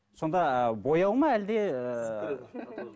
сонда бояу ма әлде ыыы